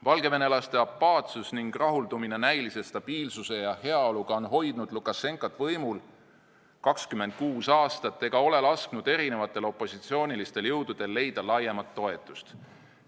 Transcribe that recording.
Valgevenelaste apaatsus ning rahuldumine näilise stabiilsuse ja heaoluga on hoidnud Lukašenkat võimul 26 aastat ega ole lasknud erinevatel opositsioonilistel jõududel laiemat toetust leida.